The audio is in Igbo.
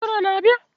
Okoro a na-abia?